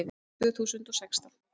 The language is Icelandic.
Tvö þúsund og sextán